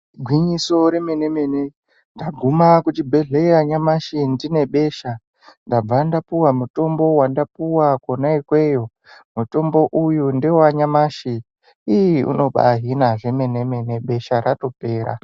Igwinyiso re mene mene ndaguma ku chibhedhleya ndine besha ndabva ndapuwa mutombo wanda puwa kona ikweyo mutombo uyu ndewa nyamashi ii unobai hina zve mene mene besha ratopera.